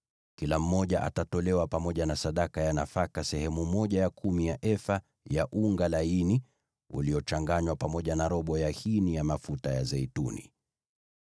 kila mmoja atolewe pamoja na sadaka ya nafaka sehemu ya kumi ya efa ya unga laini uliochanganywa pamoja na robo ya hini ya mafuta ya zeituni.